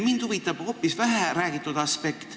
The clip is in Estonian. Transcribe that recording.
Mind huvitab hoopis vähe räägitud aspekt.